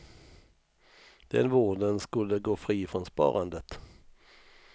Den vården skulle gå fri från sparandet.